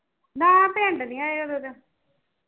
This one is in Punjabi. ਨਾ ਪਿੰਡ ਨਹੀਂ ਆਏ ਉਦੋ ਦੇ